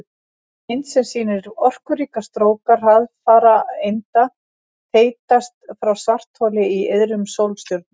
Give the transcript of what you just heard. Mynd sem sýnir orkuríka stróka hraðfara einda þeytast frá svartholi í iðrum sólstjörnu.